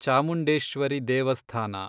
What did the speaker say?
ಚಾಮುಂಡೇಶ್ವರಿ ದೇವಸ್ಥಾನ